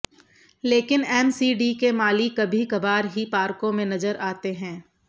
लेकिन एमसीडी के माली कभी कभार ही पार्कों में नजर आते हैं